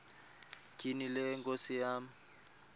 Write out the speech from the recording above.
tyhini le nkosikazi